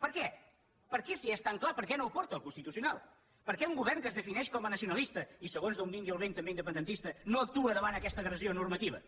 per què per què si és tan clar per què no ho porta al constitucional per què un govern que es defineix com a nacionalista i segons d’on vingui el vent també independentista no actua davant aquesta agressió normativa